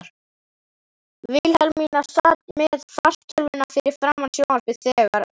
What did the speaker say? Vilhelmína sat með fartölvuna fyrir framan sjónvarpið þegar